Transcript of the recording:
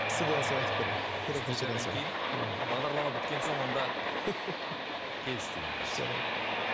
студиядан соң айтып беремін бағдарлама біткен соң онда келістік ендеше жарайды